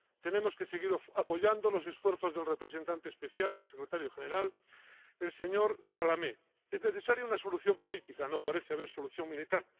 Tenemos que seguir apoyando los esfuerzos del representante especial del secretario general, el señor Salamé. Es necesaria una solución política, no parece haber solución militar.